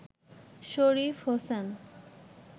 Sharif Hossain